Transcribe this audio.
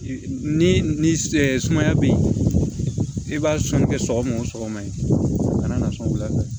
Ni ni sumaya be yen i b'a sɔnni kɛ sɔgɔma o sɔgɔma yen a kana na sɔn wula fɛ